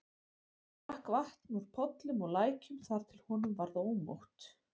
Hann drakk vatn úr pollum og lækjum þar til honum varð ómótt.